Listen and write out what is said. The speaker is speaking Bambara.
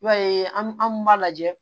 I b'a ye an b'a lajɛ